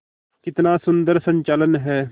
कितना सुंदर संचालन है